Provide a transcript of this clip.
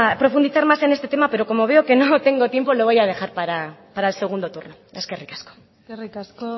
profundizar más en este tema pero como veo que no tengo tiempo lo voy a dejar para el segundo turno eskerrik asko eskerrik asko